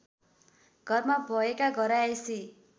घरमा भएका घरायसी